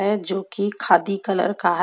है जो की खादी कलर का है--